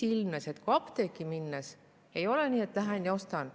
Ilmnes, et apteeki minnes ei ole nii, et lähen ja ostan.